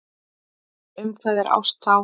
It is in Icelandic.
Um hvað er ást þá?